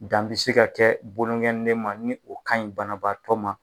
Dan bi se ka kɛ bolokɔninde ma ni o kaɲi banabaatɔ ma